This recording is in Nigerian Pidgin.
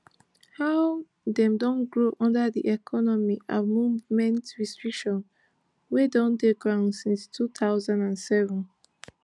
how dem don grow under di economic and movement restrictions wey don dey ground since two thousand and seven